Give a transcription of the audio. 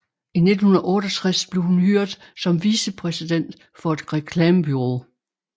I 1968 blev hun hyret som vicepræsident for et reklamebureau